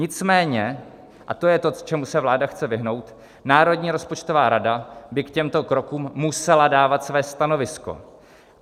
Nicméně, a to je to, čemu se vláda chce vyhnout, Národní rozpočtová rada by k těmto krokům musela dávat své stanovisko.